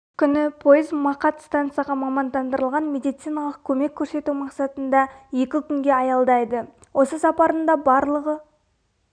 күні пойыз мақат стансаға мамандандырылған медициналық көмек көрсету мақсатында екі күнге аялдайды осы сапарында барлығы